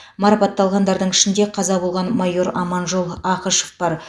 марапатталғандардың ішінде қаза болған майор аманжол ақышев бар